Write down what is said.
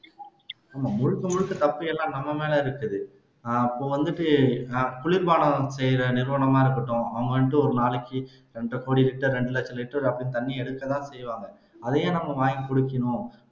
முழுக்க முழுக்க தப்பு எல்லாம் நம்ம மேல இருக்குது அப்ப வந்துட்டு குளிர்பானம் செய்யிற நிறுவனமா இருக்கட்டும் அவங்க வந்துட்டு ஒரு நாளைக்கு இரண்டரை கோடி லிட்டர் இரண்டு லட்சம் லிட்டர் அப்படின்னு தண்ணி எடுக்கத்தான் செய்வாங்க அதை ஏன் நாம வாங்கி குடிக்கணும்